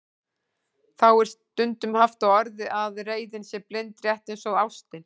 Þá er stundum haft á orði að reiðin sé blind, rétt eins og ástin.